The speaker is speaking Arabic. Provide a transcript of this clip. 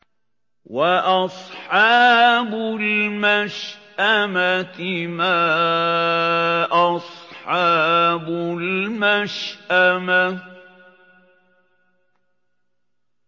وَأَصْحَابُ الْمَشْأَمَةِ مَا أَصْحَابُ الْمَشْأَمَةِ